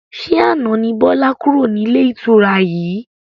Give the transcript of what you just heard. Ṣé àna ni Bọlá kúrò nílé ìtura yìí?